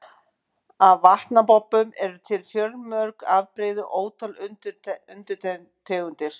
Af vatnabobbum eru til fjölmörg afbrigði og ótal undirtegundir.